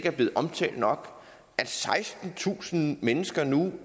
er blevet omtalt nok sekstentusind mennesker er nu